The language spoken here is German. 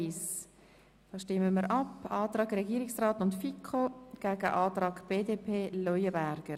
Ich stelle dem Antrag von Regierung und FiKo denjenigen der BDP gegenüber.